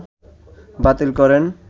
বাতিল করেন